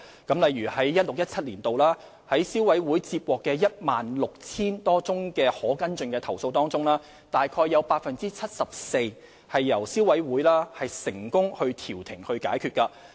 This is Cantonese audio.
舉例而言，在消委會於 2016-2017 年度接獲的 16,000 多宗可跟進的投訴中，約有 74% 由消委會成功調停解決。